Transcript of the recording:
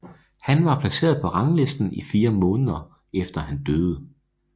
Han var placeret på ranglisten i 4 måneder efter han døde